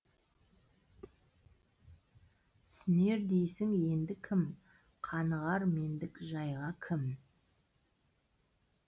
түсінер дейсің енді кім қанығар мендік жайға кім